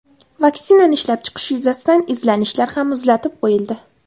Vaksinani ishlab chiqish yuzasidan izlanishlar ham muzlatib qo‘yildi.